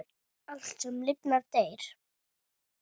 Allt, sem lifnar, deyr.